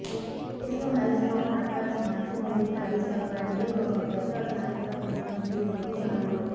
ice లో Ice Road Truckers మంచు నుండి త్రవ్వి చేయబడింది ఒక పెద్ద చరిత్రపూర్వ జీవి లోకి అమలు